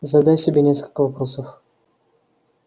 задай себе несколько вопросов